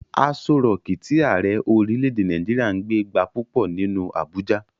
Aso rọọ̀kí tí Ààrẹ orílè-èdè Nàìjíríà ń gbé gba púpọ̀ nínú Abuja.